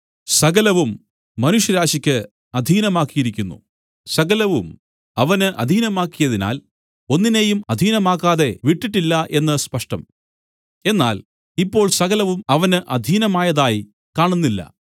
സകലവും മനുഷ്യരാശിക്ക് അധീനമാക്കിയിരിക്കുന്നു സകലവും അവന് അധീനമാക്കിയതിനാൽ ഒന്നിനേയും അധീനമാക്കാതെ വിട്ടിട്ടില്ല എന്ന് സ്പഷ്ടം എന്നാൽ ഇപ്പോൾ സകലവും അവന് അധീനമായതായി കാണുന്നില്ല